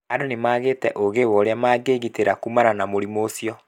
Andũ nĩmagĩte ũgĩ wa ũrĩa mangĩgitĩra kumana na mũrimũ ũcio